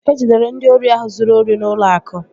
E jidere ndị ori ahụ zụrụ ori n'ụlọ akụ